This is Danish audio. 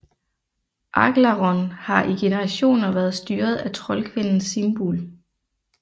Aglarond har i generationer været styret af troldkvinden Simbul